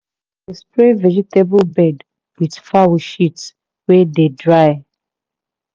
we dey spray vegetable bed with fowl shit wey dey dry.